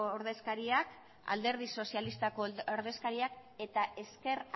ordezkaria alderdi sozialistako ordezkariak eta ezker